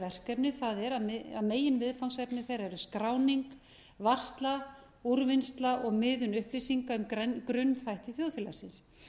verkefni það er að meginviðfangsefni þeirra eru skráning varsla úrvinnsla og miðlun upplýsinga um grunnþætti þjóðfélagsins